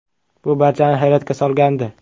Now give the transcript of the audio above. Bu barchani hayratga solgandi.